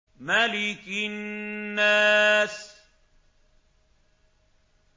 مَلِكِ النَّاسِ